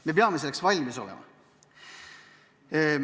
Me peame selleks valmis olema.